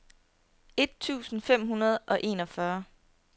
et tusind fem hundrede og enogfyrre